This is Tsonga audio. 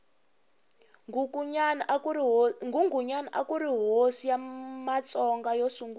nghunghunyani akuri hosi ya matsonga yo sungula